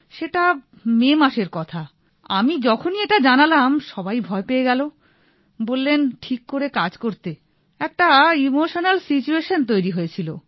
সেটা মে মাসের কথা আমি যখনি এটা জানালাম সবাই ভয় পেয়ে গেল বললেন ঠিক করে কাজ করতে একটা ইমোশনাল সিচুয়েশন তৈরি হয়েছিল